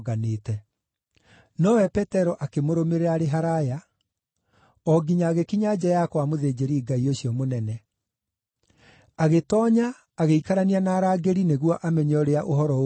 Nowe Petero akĩmũrũmĩrĩra arĩ haraaya, o nginya agĩkinya nja ya kwa mũthĩnjĩri-Ngai ũcio mũnene. Agĩtoonya agĩikarania na arangĩri nĩguo amenye ũrĩa ũhoro ũgũthiĩ.